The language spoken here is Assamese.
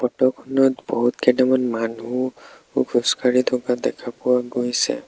ফটোখনত বহুত কেইটামান মানুহ খোজকাঢ়ি থকা দেখা পোৱা গৈছে।